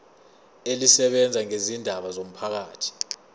elisebenza ngezindaba zomphakathi